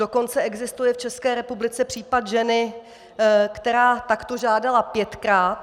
Dokonce existuje v České republice případ ženy, která takto žádala pětkrát.